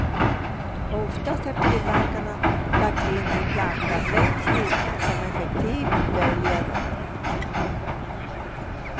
Oftast har tillverkarna lagt in en planka längst inne som effektivt döljer rören.